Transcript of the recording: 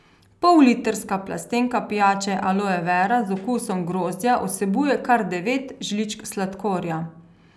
Pollitrska plastenka pijače Aloe vera z okusom grozdja vsebuje kar devet žličk sladkorja.